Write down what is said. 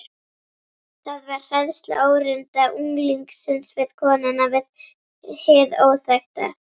Það var hræðsla óreynda unglingsins við konuna, við hið óþekkta.